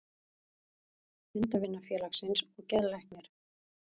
Hundavinafélagsins og geðlæknir.